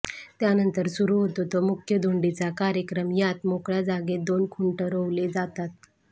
त्यानंतर सुरू होतो तो मुख्य धुंडीचा कार्यक्रम यात मोकळ्या जागेत दोन खुंट रोवले जातात